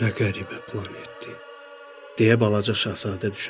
Nə qəribə planetdir, deyə balaca Şahzadə düşündü.